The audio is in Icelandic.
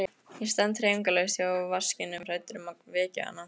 Ég stend hreyfingarlaus hjá vaskinum hræddur um að vekja hana.